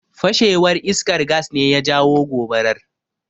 Fashewar iskar Gas ne ya jawo gobarar.